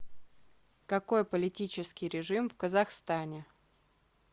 какой политический режим в казахстане